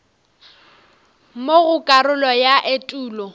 mo go karolo ya etulo